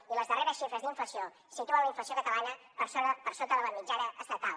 i les darreres xifres d’inflació situen la inflació catalana per sota de la mitjana estatal